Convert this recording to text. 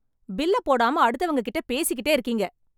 பில்ல போடாம அடுத்தவங்க கிட்ட பேசிக்கிட்டே இருக்கீங்க...